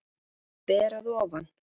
Ber að ofan.